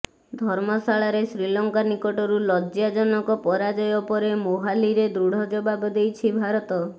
ଧର୍ମଶାଳାରେ ଶ୍ରୀଲଙ୍କା ନିକଟରୁ ଲଜ୍ଜାଜନକ ପରାଜାୟ ପରେ ମୋହାଲିରେ ଦୃଢ଼ ଜବାବ ଦେଇଛି ଭାରତ